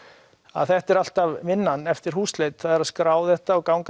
að þetta er alltaf vinnan eftir húsleit það er að skrá þetta og ganga